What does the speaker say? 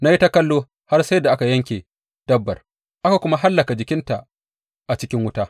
Na yi ta kallo har sai da aka yanke dabbar, aka kuma hallaka jikinta a cikin wuta.